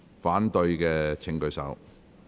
反對的請舉手。